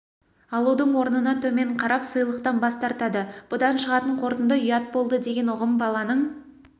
алудың орнына төмен қарап сыйлықтан бас тартады бұдан шығатын қорытынды ұят болды деген ұғым баланың